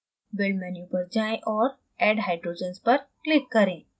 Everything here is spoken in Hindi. build menu पर जाएँ और add hydrogens पर click करें